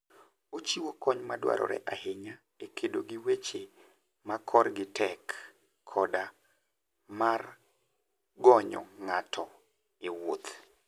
Ochiwo kony madwarore ahinya e kedo gi weche ma korgi tek koda mar gonyo ng'ato e wuoth.